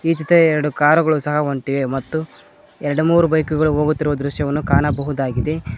ಹಿಂದೆ ಎರಡು ಕಾರುಗಳು ಸಹ ಹೊಂಟಿವೆ ಮತ್ತು ಎರಡು ಮೂರು ಬೈಕುಗಳು ಹೋಗುತ್ತಿರುವ ದೃಶ್ಯವನ್ನು ಕಾಣಬಹುದಾಗಿದೆ.